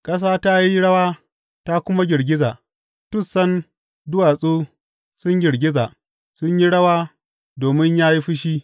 Ƙasa ta yi rawa ta kuma girgiza, tussan duwatsu sun girgiza; sun yi rawa domin ya yi fushi.